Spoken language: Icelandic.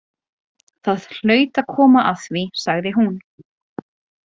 Það hlaut að koma að því, sagði hún.